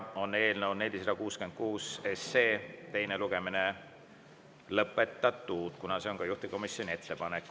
Eelnõu 466 teine lugemine on lõpetatud, kuna see on juhtivkomisjoni ettepanek.